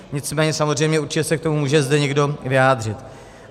Nicméně samozřejmě určitě se k tomu může zde někdo vyjádřit.